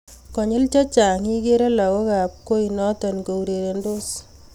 konyil chechang igerei lagookab koi noto kourerensot